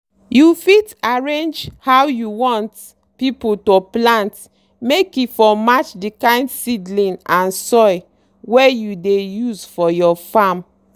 you fit arrange how you want pipu to plant make e for match the kind seedling and soil wey you dey use for your farm.